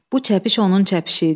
Bu çəpiş onun çəpişi idi.